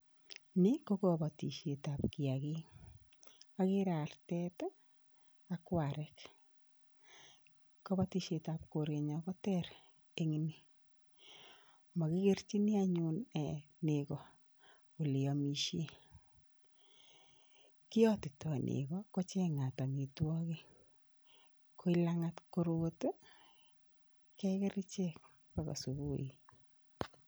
Ni ko kabatisietab kiyakik, ageere artet ak warek, kabatisietab korenyon ko ter eng ni, makikerchin anyuun neko ole aamishen. Kiyotitoi neko kochengat amitwokik, koi langat korot keker ichek akoi subui.